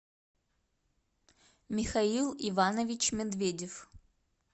михаил иванович медведев